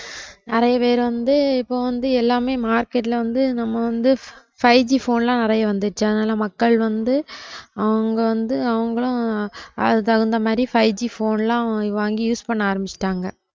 நிறைய பேரு வந்து இப்போ வந்து எல்லாமே market ல வந்து நம்ம வந்து five G phone லாம் நிறைய வந்துச்சு அதுனால மக்கள் வந்து அவங்க வந்து அவங்களும் அதுக்கு தகுந்த மாதிரி five G phone லாம் வாங்கி use பண்ண ஆரம்பிச்சிட்டாங்க